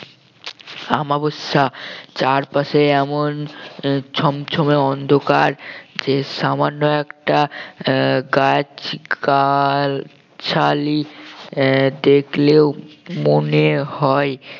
অমাবস্যা চারপাশে এমন আহ ছমছম অন্ধকার যে সামান্য একটা আহ গাছ গাছালি আহ দেখলেও মনে হয়